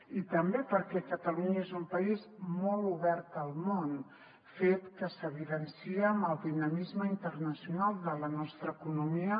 i també perquè catalunya és un país molt obert al món fet que s’evidencia amb el dinamisme internacional de la nostra economia